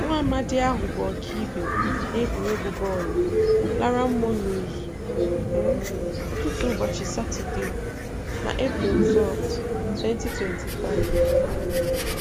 Nwaamadị ahụ bụ ọkaibe n'egwuruegwu bọọlụ lara mmụọ n'ụzụ um ụtụtụ ụbọchị Satọde, na Eprel 12, 2025.